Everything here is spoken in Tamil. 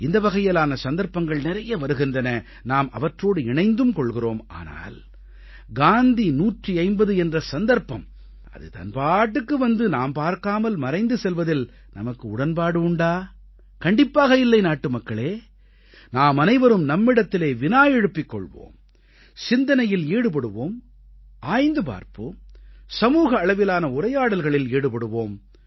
இந்த வகையிலான சந்தர்ப்பங்கள் நிறைய வருகின்றன நாம் அவற்றோடு இணைந்தும் கொள்கிறோம் ஆனால் காந்தி 150 என்ற சந்தர்ப்பம் அது தன் பாட்டுக்கு வந்து நாம் பார்க்காமல் மறைந்து செல்வதில் நமக்கு உடன்பாடு உண்டா கண்டிப்பாக இல்லை நாட்டுமக்களே நாமனைவரும் நம்மிடத்திலே வினா எழுப்பிக் கொள்வோம் சிந்தனையில் ஈடுபடுவோம் ஆய்ந்து பார்ப்போம் சமூக அளவிலான உரையாடல்களில் ஈடுபடுவோம்